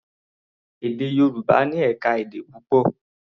Èdè Yorùbá ní ẹ̀ka-èdè púpọ̀.